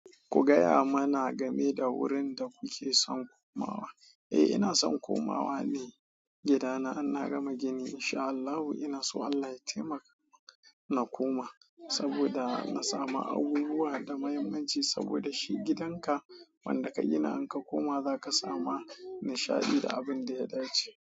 Ku gaya mana game da wurin da kuke son komawa. Eh, ina son komawa ne gidana, inna gama gini. Insha Allahu ina so Allah ya taimaka na koma saboda na samu abubuwa da mahimmanci saboda shi gidan ka wanda ka gina in ka koma za ka samu nishaɗi da abin da ya dace.